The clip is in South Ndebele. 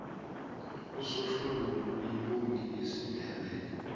usohlungulu yimbongi yesindebele